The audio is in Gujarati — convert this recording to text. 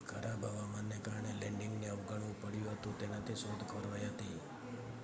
ખરાબ હવામાનને કારણે લેન્ડિંગને અવગણવું પડ્યું હતું તેનાથી શોધ ખોરવાઈ હતી